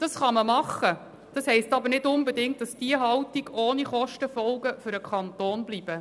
Das kann man schon machen, das heisst aber nicht unbedingt, dass diese Haltung ohne Kostenfolgen für den Kanton bleibt.